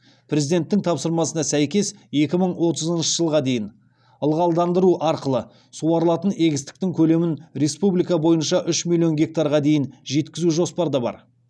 президенттің тапсырмасына сәйкес екі мың отызыншы жылға дейін ылғалдандыру арқылы суарылатын егістіктің көлемін республика бойынша үш миллион гектарға дейін жеткізу жоспарда бар